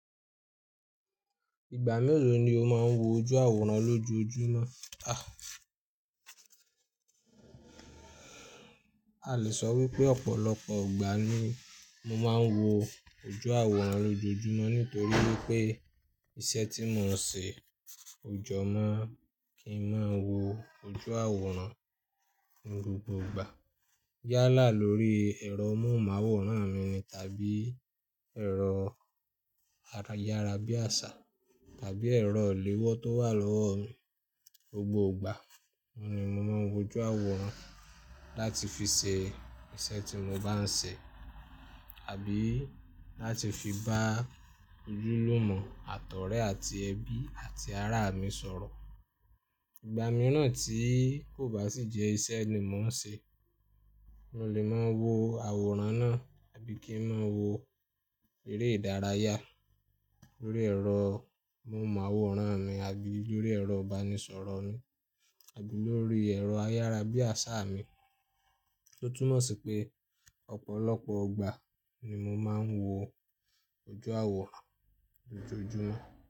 Ìgbà mélòó ni o máa ń wo ojú àwòrán lójoojúmọ́? A le sọ wípé ọ̀pọ̀lọpọ̀ gbà ni mo máa ń wo ojú àwòrán lójoojúmọ́ nítorí wípé iṣẹ́ tí mò ń ṣe ò jọ má kí ń má wo ojú àwòrán ní gbogbo ìgbà. Yálà lórí ẹ̀rọ mọ́hun ma àwòrán mi tàbí ẹ̀rọ ayárabíàṣá tàbí ẹ̀rọ ìléwọ́ tó wà lọ́wọ́ mi gbogbo ìgbà, òun ni mo máa ń wo ojú àwòrán láti fi ṣe iṣẹ́ tí mo bá ń ṣe àbí láti fi bá ojúlùmọ̀, àtọ̀rẹ àti ẹbí àti ará mi sọ̀rọ̀. Ìgbà mìíràn tí kò bá sì jẹ́ iṣẹ́ ni mò ń ṣe, mo lè máa wo àwòrán náà àbí kí ń máa wo eré ìdárayá lórí ẹ̀rọ mọ́hun màwòrán mi àbí lórí ẹ̀rọ ìbánisọ̀rọ̀ mi àbí lórí ẹ̀rọ ayárabíàṣá mi. Ó túnmọ̀ sí pé ọ̀pọ̀lọpọ̀ gbà ni mo máa ń wo ojú àwòrán lójoojúmọ́.